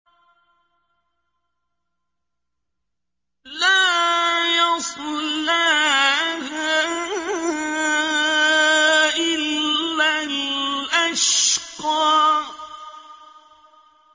لَا يَصْلَاهَا إِلَّا الْأَشْقَى